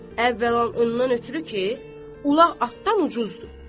Əvvəla ondan ötrü ki, ulaq atdan ucuzdur.